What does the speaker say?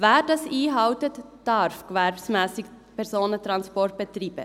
Wer dies einhält, darf gewerbsmässig Personentransporte betreiben.